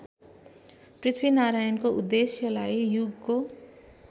पृथ्वीनारायणको उद्देश्यलाई युगको